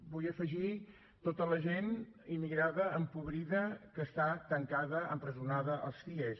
vull afegir tota la gent immigrada empobrida que està tancada empresonada als cie